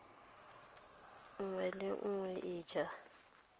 nngwe le nngwe e ja